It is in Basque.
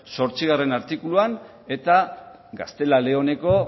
zortzigarrena artikuluan eta gaztela leoneko